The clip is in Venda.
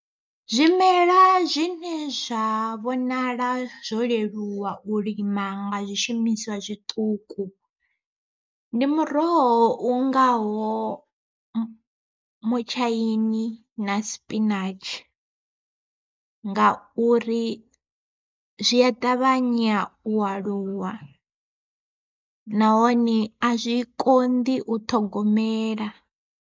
Zwimela zwine zwa vhonala zwo leluwa u lima nga zwishumiswa zwiṱuku, ndi muroho u ngaho mutshaini na sipinatshi, ngauri zwi a ṱavhanya u aluwa nahone a zwi konḓi u ṱhogomela.